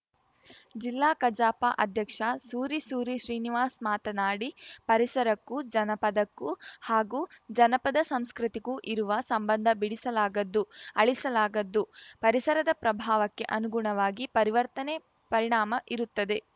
ಜಿಲ್ಲಾ ಕಜಾಪ ಅಧ್ಯಕ್ಷ ಸೂರಿ ಸೂರಿ ಶ್ರೀನಿವಾಸ್‌ ಮಾತನಾಡಿ ಪರಿಸರಕ್ಕೂ ಜನಪದಕ್ಕೂ ಹಾಗೂ ಜನಪದ ಸಂಸ್ಕೃತಿಗೂ ಇರುವ ಸಂಬಂಧ ಬಿಡಿಸಲಾಗದ್ದು ಅಳಿಸಲಾಗದ್ದುಪರಿಸರದ ಪ್ರಭಾವಕ್ಕೆ ಅನುಗುಣವಾಗಿ ಪರಿವರ್ತನೆ ಪರಿಣಾಮ ಇರುತ್ತದೆ